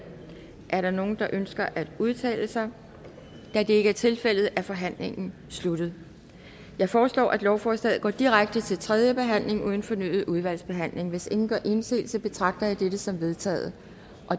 er der nogen der ønsker at udtale sig da det ikke er tilfældet er forhandlingen sluttet jeg foreslår at lovforslaget går direkte til tredje behandling uden fornyet udvalgsbehandling hvis ingen gør indsigelse betragter jeg dette som vedtaget